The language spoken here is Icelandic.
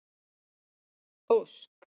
Ósk